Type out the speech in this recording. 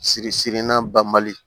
Siri sirila bali